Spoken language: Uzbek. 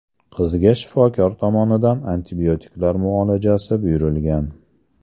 Qizga shifokor tomonidan antibiotiklar muolajasi buyurilgan.